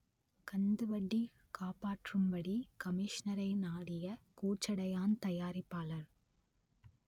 கந்துவட்டி காப்பாற்றும்படி கமிஷனரை நாடிய கோச்சடையான் தயாரிப்பாளர்